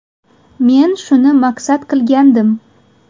Men shuni maqsad qilgandim.